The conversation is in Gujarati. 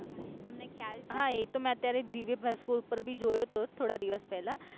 હા એ તો મેં અત્યારે દિવ્ય ભાસ્કર ઉપર ભી જોયો તો થોડા દિવસ પેલા